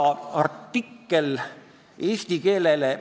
See, et transparentidel ei näe eesti keelt, ei tähenda, et eesti keel piketil ei kõla.